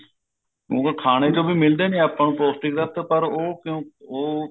ਉਵੇਂ ਖਾਣੇ ਚੋ ਵੀ ਮਿਲਦੇ ਨੇ ਆਪਾਂ ਨੂੰ ਪੋਸਟਿਕ ਤੱਤ ਪਰ ਕਿਉਂ ਉਹ